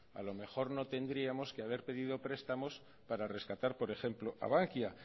a lo mejor no tendríamos que haber pedido prestamos para rescatar por ejemplo a bankia